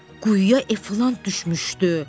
Quyuya Eflant düşmüşdü!